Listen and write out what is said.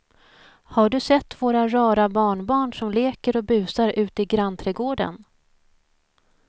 Har du sett våra rara barnbarn som leker och busar ute i grannträdgården!